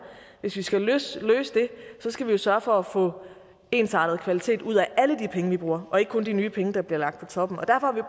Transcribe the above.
hvis vi skal løse det skal vi sørge for at få ensartet kvalitet ud af alle de penge vi bruger og ikke kun de nye penge der bliver lagt på toppen